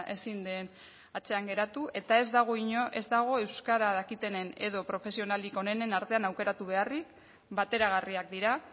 ezin den atzean geratu eta ez dago euskara dakitenen edo profesionalik onenen artean aukeratu beharrik bateragarriak dira